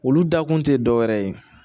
Olu dakun tɛ dɔwɛrɛ ye